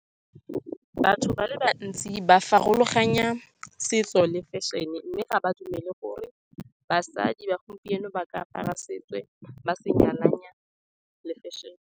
Fashion-e e ka thusa thata ka go tlisa diphetogo mo setšhabeng. E tshwanetse go rotloetsa batho go nna le seabe mo go tsa loago ka go dira meaparo ya setso, mme e kopane le fashion-e.